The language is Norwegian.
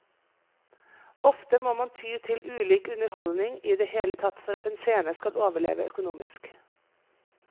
Ofte må man ty til ulik underholdning i det hele tatt for at en scene skal overleve økonomisk.